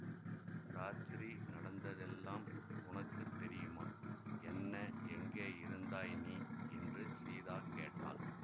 ராத்திரி நடந்ததெல்லாம் உனக்கு தெரியுமா என்ன எங்கேயிருந்தாய் நீ என்று சீதா கேட்டாள்